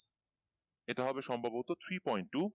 এটা হবে সম্ভবত three point two